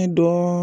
Ne dɔn